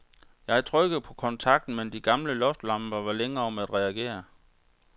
Jeg trykkede på kontakten, men de gamle loftslamper var længe om at reagere.